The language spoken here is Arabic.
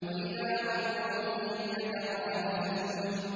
وَإِذَا مَرُّوا بِهِمْ يَتَغَامَزُونَ